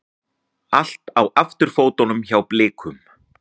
Allt á afturfótunum hjá Blikum